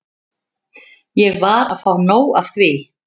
Ég var að fá nóg af því.